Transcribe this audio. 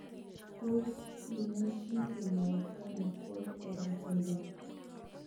Tos imuchi kinyaita ano holt oram syndrome